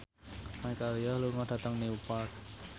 Michelle Yeoh lunga dhateng Newport